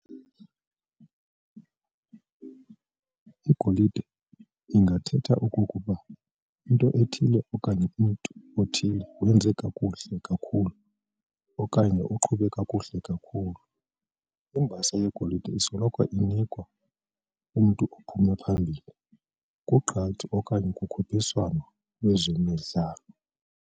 Igolide ingathetha okokuba into ethile okanye umntu othile wenza kakuhle kakhulu okanye uqhube kakuhle kakhulu. Imbasa yegolide isoloko inikwa umntu ophume phambili kugqatso okanye kukhuphiswano lwezemidlalo.